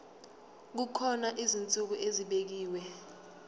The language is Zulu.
kukhona izinsuku ezibekiwe